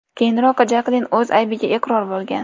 Keyinroq Jaklin o‘z aybiga iqror bo‘lgan.